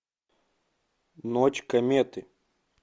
ночь кометы